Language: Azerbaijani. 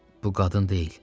Bu qadın deyil.